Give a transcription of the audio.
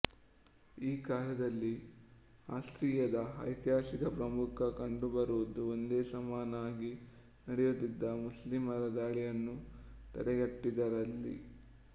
ಈ ಕಾಲದಲ್ಲಿ ಆಸ್ಟ್ರಿಯದ ಐತಿಹಾಸಿಕ ಪ್ರಾಮುಖ್ಯ ಕಂಡುಬರುವುದು ಒಂದೇ ಸಮನಾಗಿ ನಡೆಯುತ್ತಿದ್ದ ಮುಸ್ಲಿಮರ ದಾಳಿಯನ್ನು ತಡೆಗಟ್ಟಿದ್ದರಲ್ಲಿ